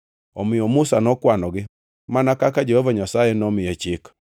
Omiyo Musa nokwanogi, mana kaka Jehova Nyasaye nomiye chik.